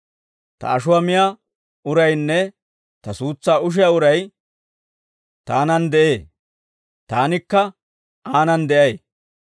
Ta ashuwaa miyaa uraynne ta suutsaa ushiyaa uray taanan de'ee; taanikka aanani de'ay.